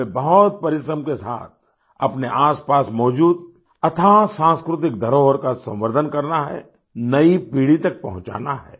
हमें बहुत परिश्रम के साथ अपने आसपास मौजूद अथाह सांस्कृतिक धरोहर का संवर्धन करना है नई पीढ़ी तक पहुँचाना है